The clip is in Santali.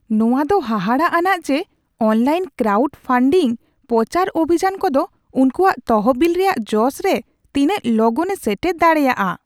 ᱱᱚᱶᱟ ᱫᱚ ᱦᱟᱦᱟᱲᱟᱜᱼᱟᱱᱟᱜ ᱡᱮ ᱚᱱᱞᱟᱭᱤᱱ ᱠᱨᱟᱣᱩᱰ ᱯᱷᱟᱱᱰᱤᱝ ᱯᱚᱪᱟᱨ ᱚᱵᱷᱤᱡᱟᱱ ᱠᱚᱫᱚ ᱩᱱᱠᱚᱣᱟᱜ ᱛᱚᱦᱚᱵᱤᱞ ᱨᱮᱭᱟᱜ ᱡᱚᱥ ᱨᱮ ᱛᱤᱱᱟᱹᱜ ᱞᱚᱜᱚᱱᱮ ᱥᱮᱴᱮᱨ ᱫᱟᱲᱮᱭᱟᱜᱼᱟ ᱾